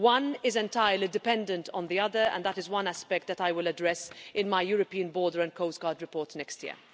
One is entirely dependent on the other, and that is one aspect that I will address in my European Border and Coast Guard report next year.